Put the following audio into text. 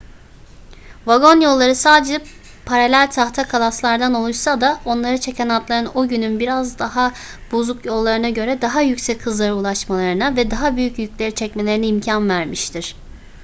vagon yolları sadece paralel tahta kalaslardan oluşsa da onları çeken atların o günün biraz daha bozuk yollarına göre daha yüksek hızlara ulaşmalarına ve daha büyük yükleri çekmelerine imkan vermiştir